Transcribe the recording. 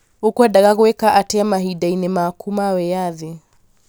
Ũkwendaga gwĩka atĩa mahinda-inĩ maku ma wĩyathi